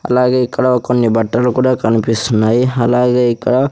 అలాగే ఇక్కడ కొన్ని బట్టలు కూడా కనిపిస్తున్నాయి అలాగే ఇక్కడ--